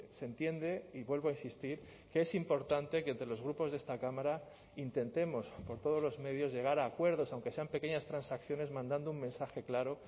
se entiende y vuelvo a insistir que es importante que entre los grupos de esta cámara intentemos por todos los medios llegar a acuerdos aunque sean pequeñas transacciones mandando un mensaje claro